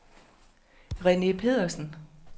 Rene Petersen